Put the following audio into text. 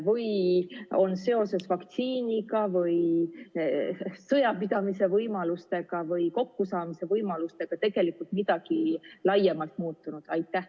Või on seoses vaktsiiniga või sõjapidamise võimalustega või kokkusaamise võimalustega midagi laiemalt muutunud?